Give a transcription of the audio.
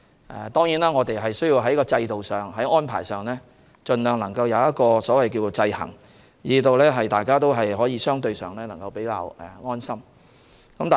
當然，我們需要在制度上、安排上盡量做到制衡，令大家相對感到安心。